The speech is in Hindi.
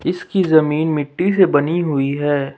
इसकी जमीन मिट्टी से बनी हुई है।